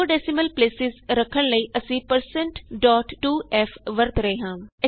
2 decimal place ਰੱਖਣ ਲਈ ਅਸੀਂ1602f ਵਰਤ ਰਹੇ ਹਾਂ